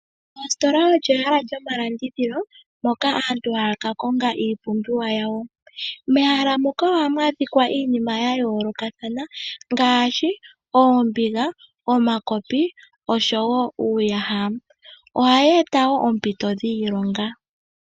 Oositola olyo ehala lyomalandithilo moka aantu haakakonga iipumbiwa yawo. Mehala muka oha mwaadhikwa iinima yayolokathana ngaashi oombinga, omakopi nosho woo uuyaha, ohayeeta woo oompito dhiilonga.